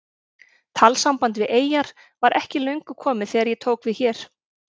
Talsamband við eyjar var ekki löngu komið þegar ég tók hér við.